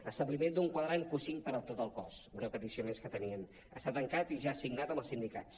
establiment d’un quadrant q5 per a tot el cos una petició més que tenien està tancat i ja signat amb els sindicats